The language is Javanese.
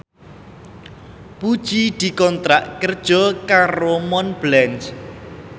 Puji dikontrak kerja karo Montblanc